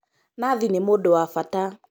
Nathi nĩ mũndũ wa bata